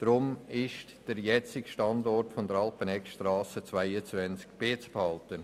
Deshalb jetzige Standort Alpeneggstrasse 22 beizubehalten.